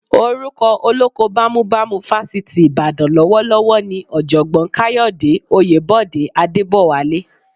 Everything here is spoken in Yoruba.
Orúkọ olóko bámúbamù Fásitì Ìbàdàn lọ́wọ́lọ́wọ́ ni Ọ̀jọ̀gbọ́n Káyọ̀dé Oyèbọ̀dé Adébọ̀wálé